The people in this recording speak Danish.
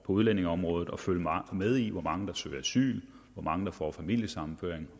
udlændingeområdet og følge med i hvor mange der søger asyl hvor mange der får familiesammenføring